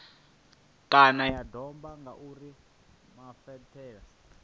kana ya domba ngauri mafhaṱele